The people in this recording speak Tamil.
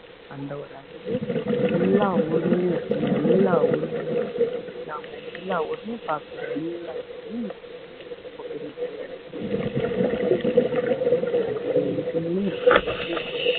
அந்த ஒரு அதுவே எல்லா ஊர்களிலேயும் இருக்கும் எல்லா ஊர்களிலேயும் இருக்கு நாம எல்லா ஊரிலேயும் பார்க்கலாம் எல்லா ஊரிலேயும் இருக்குது ரொம்ப பெரிய பெரிய இடத்துலையும் இருக்குது சின்ன சின்ன இடத்துலையும் இருக்குது வீட்டுலையும் இருக்குது வெளியிலையும் இருக்குது